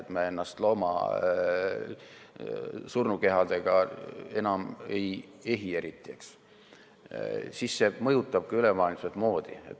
Kui me ennast surnud loomade nahkadega enam eriti ei ehi, siis see mõjutab ka ülemaailmset moodi.